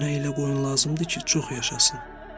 Mənə elə qoyun lazımdır ki, çox yaşasın.